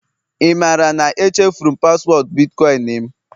ị maara na echefuru m paswọọdụ bitkọịn m?